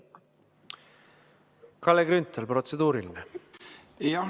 Kalle Grünthal, protseduuriline.